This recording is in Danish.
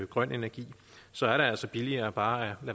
grøn energi så er det altså billigere bare